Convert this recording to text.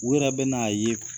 U yɛrɛ bɛ na 'a ye